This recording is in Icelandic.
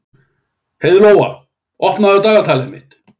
Heiðlóa, opnaðu dagatalið mitt.